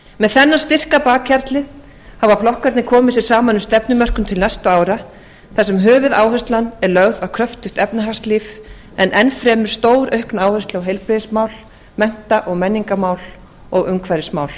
með þennan styrk að bakhjarli hafa flokkarnir komið sér saman um stefnumörkun til næstu ára þar sem höfuðáherslan er lögð á kröftugt efnahagslíf en enn fremur stóraukna áherslu á heilbrigðismál mennta og menningarmál og umhverfismál